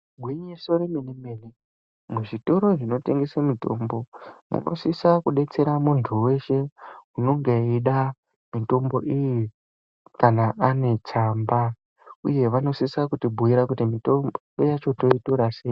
Gwinyiso yomene mene muzvitoro munotengeswe mitombo , vanosisa kudetsera muntu weshe, unenge echida mitombo iyi kana aine tsamba, uye vano sisa kubhuuye kuti mitombo yacho totora seyi.